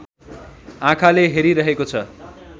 आँखाले हेरिरहेको छ।